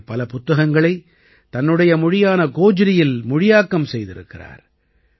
இவர் பல புத்தகங்களை தன்னுடைய மொழியான கோஜ்ரியில் மொழியாக்கம் செய்திருக்கிறார்